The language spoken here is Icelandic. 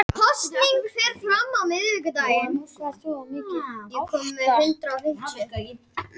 Í hverjum mánuði nema gervihnettirnir um það bil eins kílótonns sprengingar.